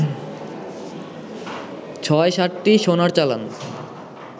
৬-৭টি সোনার চালান